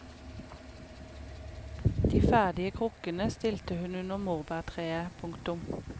De ferdige krukkene stilte hun under morbærtreet. punktum